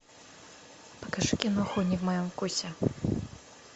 покажи киноху не в моем вкусе